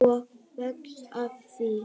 Og vex af því.